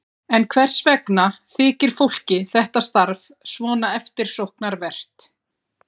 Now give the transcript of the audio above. En hvers vegna þykir fólki þetta starf svona eftirsóknarvert?